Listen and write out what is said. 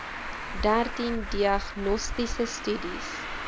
dertien diagnostiese studies